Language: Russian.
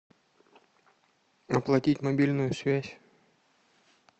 оплатить мобильную связь